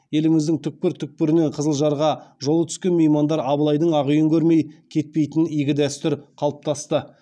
еліміздің түкпір түкпірінен қызылжарға жолы түскен меймандар абылайдың ақ үйін көрмей кетпейтін игі дәстүр қалыптасты